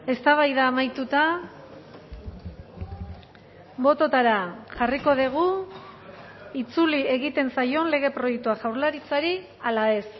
eztabaida amaituta bototara jarriko dugu itzuli egiten zaion lege proiektua jaurlaritzari ala ez